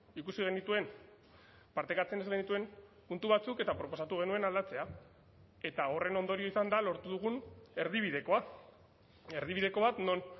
ikusi genituen partekatzen ez genituen puntu batzuk eta proposatu genuen aldatzea eta horren ondorio izan da lortu dugun erdibidekoa erdibideko bat non